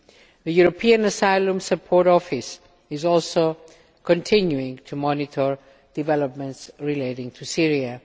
The European Asylum Support Office is also continuing to monitor developments relating to Syria.